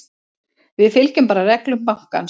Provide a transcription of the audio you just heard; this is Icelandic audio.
Við fylgjum bara reglum bankans.